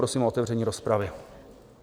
Prosím o otevření rozpravy.